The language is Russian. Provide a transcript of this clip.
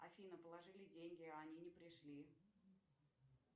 афина положили деньги а они не пришли